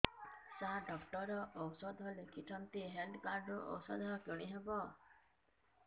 ସାର doctor ଔଷଧ ଲେଖିଛନ୍ତି health card ରୁ ଔଷଧ କିଣି ହେବ